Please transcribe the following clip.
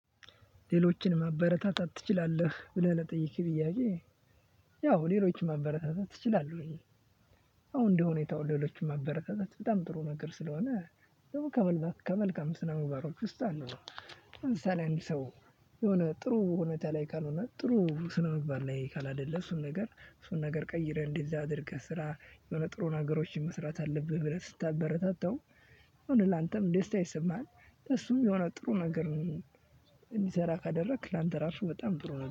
ሌሎችን ማበረታታት ትችላለህ ብለህ ለጠየከኝ ጥያቄ? ያው ሌሎችን ማበረታታት እችላለሁኝ። ያው እንደሁኔታው ሌሎችን ማበረታታት በጣም ጥሩ ነገር ስለሆነ ደግሞ ከመልካም ስነምግባሮች ምባሮች ውስጥ አንዱ ነው። ለምሳሌ አንድ ሰው የሆነ ጥሩ ሁኔታ ላይ ካልሆነ ጥሩ ስነ ምባር ላይ ካላደለ እሱን ነገር እሱን ነገር ቀይረህ እንዲህ አድርገህ ስራ የሆነ ጥሩን ነገሮችን መስራት አለብህ ብለህ ስታበረታታው። አሁን ላንተም ደስታ ይሰማሃል እሱም የሆነ ጥሩ ነገር ነው። እንዲሰራ ካደረክ ላንተ ራሱ በጣም ጥሩ ነው